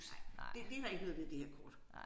Nej det det der ikke noget ved det her kort